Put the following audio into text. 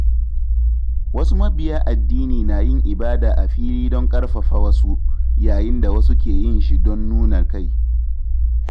Wasu mabiya addini na yin ibada a fili don ƙarfafa wasu, yayin da wasu ke yin shi don nuna kai.